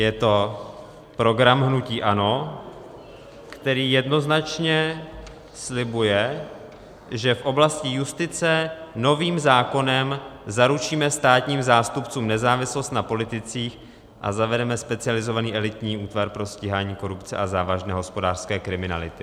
Je to program hnutí ANO, který jednoznačně slibuje, že v oblasti justice novým zákonem zaručíme státním zástupcům nezávislost na politicích a zavedeme specializovaný elitní útvar pro stíhání korupce a závažné hospodářské kriminality.